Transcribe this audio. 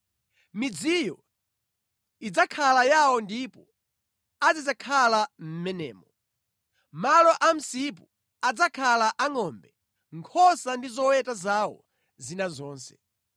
Midziyo idzakhala yawo ndipo azidzakhala mʼmenemo. Malo a msipu adzakhala a ngʼombe, nkhosa ndi zoweta zawo zina zonse.